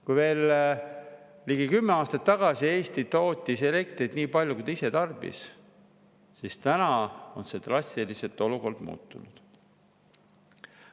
Kui veel ligi kümme aastat tagasi Eesti tootis elektrit nii palju, kui ta ise tarbis, siis tänaseks on olukord drastiliselt muutunud.